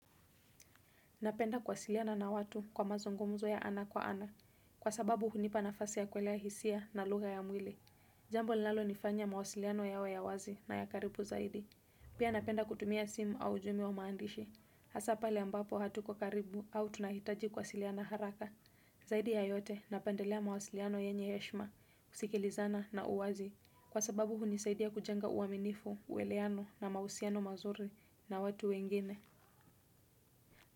Napenda kuwasiliana na watu kwa mazungumzo ya ana kwa ana. Kwa sababu hunipa nafasi ya kuelewa hisia na lugha ya mwili. Jambo linalo nifanya mawasiliano yawe ya wazi na ya karibu zaidi. Pia napenda kutumia simu au ujumbe wa maandishi. Hasaa pale ambapo hatuko karibu au tunahitaji kuwasiliana haraka. Zaidi ya yote napendelea mawasiliano yenye heshima, kusikilizana na uwazi. Kwa sababu hunisaidia kujenga uaminifu, ueleano na mawasiliano mazuri na watu wengine.